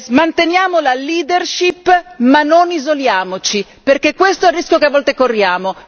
Manteniamo la leadership ma non isoliamoci, perché questo è il rischio che a volte corriamo.